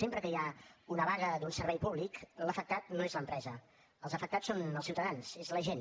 sempre que hi ha una vaga d’un servei públic l’afectat no és l’empresa els afectats són els ciutadans és la gent